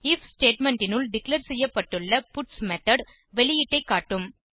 if statement னுள் declare செய்யப்பட்டுள்ள பட்ஸ் மெத்தோட் வெளியீட்டை காட்டும்